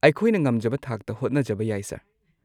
ꯑꯩꯈꯣꯏꯅ ꯉꯝꯖꯕ ꯊꯥꯛꯇ ꯍꯣꯠꯅꯖꯕ ꯌꯥꯏ ꯁꯔ꯫